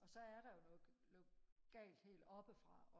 og så er der jo noget galt helt oppe fra